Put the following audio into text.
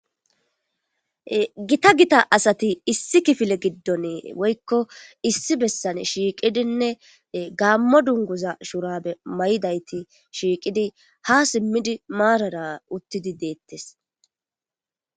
Gita hita asati issi kifile gidon woyko issi bessan shiiqidinne gamo dunguza shura e mayidayti fhiqidi ha simidi marata uttidi detes